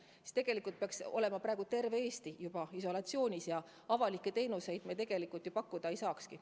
Kui nii võtta, siis tegelikult peaks praegu olema terve Eesti juba isolatsioonis ja avalikke teenuseid pakkuda ei saakski.